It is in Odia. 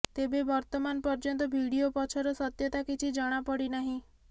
ତେବେ ବର୍ତ୍ତମାନ ପର୍ଯ୍ୟନ୍ତ ଭିଡ଼ିଓ ପଛର ସତ୍ୟତା କିଛି ଜଣା ପଡ଼ିନାହିଁ